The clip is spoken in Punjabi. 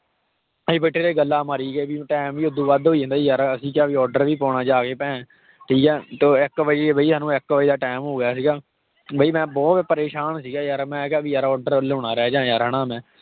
ਅਸੀਂ ਬੈਠੇ ਰਹੇ ਗੱਲਾਂ ਮਾਰੀ ਗਏ time ਵੀ ਹੱਦੋਂ ਵੱਧ ਹੋਈ ਜਾਂਦਾ ਸੀ ਯਾਰ ਅਸੀਂ ਕਿਹਾ ਵੀ order ਵੀ ਪਾਉਣਾ ਜਾ ਕੇ ਭੈ~ ਠੀਕ ਹੈ ਤੇ ਉਹ ਇੱਕ ਵਜੇ ਵੀ ਸਾਨੂੰ ਇੱਕ ਵਜੇ ਦਾ time ਹੋ ਗਿਆ ਸੀਗਾ ਬਈ ਮੈਂ ਬਹੁਤ ਪਰੇਸਾਨ ਸੀਗਾ ਯਾਰ ਮੈਂ ਕਿਹਾ ਵੀ ਯਾਰ order ਵੱਲੋਂ ਨਾ ਰਹਿ ਜਾਵਾਂ ਯਾਰ ਹਨਾ ਮੈਂ।